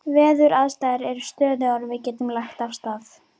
Veðuraðstæður eru stöðugar og við getum lagt af stað.